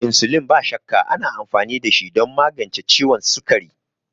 Insulin, ba shakka, ana amfani dashi don magance ciwon sukari.